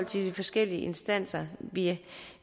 til de forskellige instanser vi